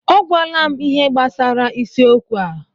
O gwala m ihe gbasara isiokwu a.